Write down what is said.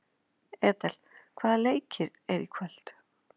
Edel, hvaða leikir eru í kvöld?